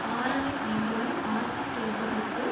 ஆறரை ஆண்டுகள் ஆட்சி செய்ததைப்போல்